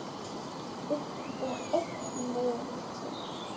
Eitt uppi og eitt niðri.